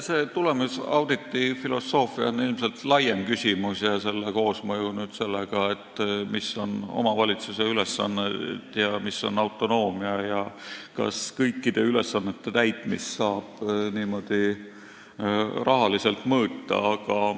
See tulemusauditi filosoofia on ilmselt laiem küsimus, koosmõju sellega, mis on omavalitsuse ülesanne, mis on autonoomia ja kas kõikide ülesannete täitmist saab rahaliselt mõõta.